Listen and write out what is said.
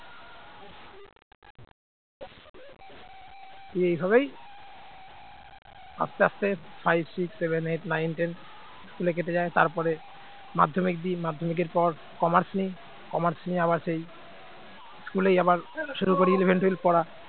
এই ভাবেই আস্তে আস্তে five six seven eight nine ten school কেটে যায় তারপরে মাধ্যমিক দিই মাধ্যমিকের পর commerce নেই commerce নিয়ে আবার সেই school ই আবার শুরু করি eleven twelve পড়া